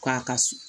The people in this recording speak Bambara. K'a ka sun